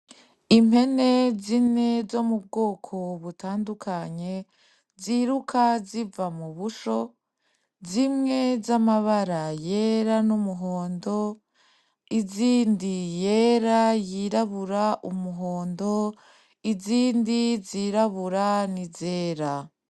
Impene zine zo mubwoko butandukanye ziruka ziva mubusho zimwe z'amabara yera n'umuhondo, izindi yera, yirabura, umuhondo, izindi zirabura n'izera.